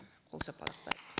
қол шапалақтайық